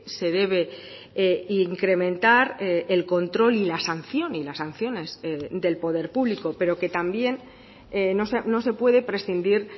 se debe incrementar el control y la sanción y las sanciones del poder público pero que también no se puede prescindir